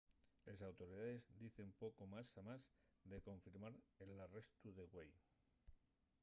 les autoridaes dicen poco más amás de confirmar l’arrestu de güei